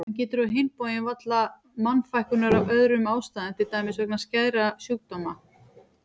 Hann getur á hinn bóginn varla mannfækkunar af öðrum ástæðum til dæmis vegna skæðra sjúkdóma.